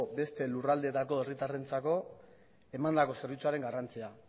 beste lurraldeetako herritarrentzako emandako zerbitzuaren garrantzia